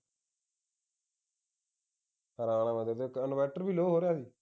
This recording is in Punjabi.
ਹੈਰਾਨ ਹਾਂ ਮੈਂ inverter ਵੀ low ਹੋ ਰਿਹਾ ਸੀ